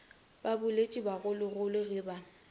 ba boletše bagologolo ge ba